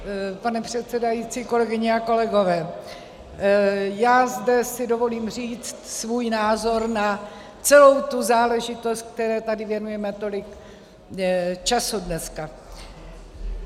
Pane předsedající, kolegyně a kolegové, já si zde dovolím říct svůj názor na celou tu záležitost, které tady věnujeme tolik času dneska.